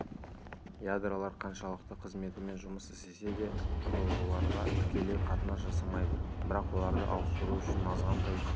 ядролар қаншалықты қызметімен жұмыс істесе де құрылғыларға тікелей қатынас жасамайды басқа оларды ауыстыру үшін азғантай